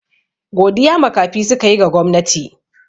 Godiya makafi suka yi ga gwamnati.